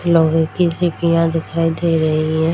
लोहे की सीपियाँ दिखाई दे रही है।